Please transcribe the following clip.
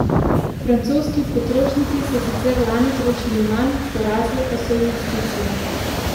Francoski potrošniki so sicer lani trošili manj, porasle pa so investicije.